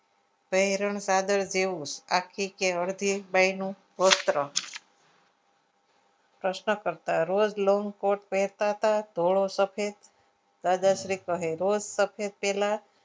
પહેરણ કાગળ જેવું આખી કે અડધી બોયનું વસ્ત્ર પ્રશ્ન કરતા રોજ long coat પહેરતા હતા ધોળો સફેદ દાદાશ્રી કહે રોજ સફેદ પહેલા